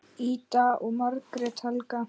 Ida og Margrét Helga.